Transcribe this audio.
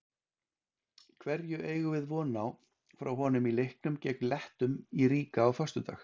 Hverju eigum við von á frá honum í leiknum gegn Lettum í Riga á föstudag?